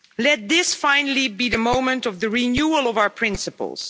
Let this finally be the moment of renewal of our principles.